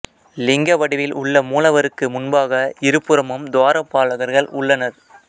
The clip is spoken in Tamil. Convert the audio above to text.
லிங்க வடிவில் உள்ள மூலவருக்கு முன்பாக இரு புறமும் துவாரபாலகர்கள் உள்ளனர்